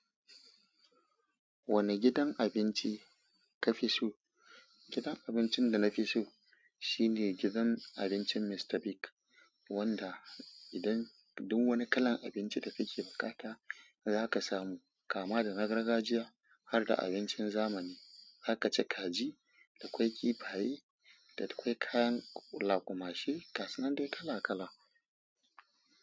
Wane gidan abinci ka fi so? Gidan abincin da na fi so shine gidan abincin Mr Bigz, wanda idan duk wani kalan abinci da kake bukata zaka samu kama da na gargajiya har da abincin zamani. Har kace kaji, da kwai kifaye, da kwai kayan laƙumashi gasunan dai kala kala.